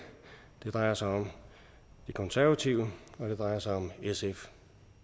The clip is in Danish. det drejer sig om de konservative og det drejer sig om sf